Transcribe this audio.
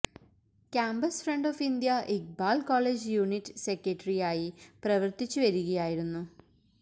campus front of India Iqbal college unit സെക്രട്ടറിയായി പ്രവർത്തിച്ചു വരികയായിരുന്നു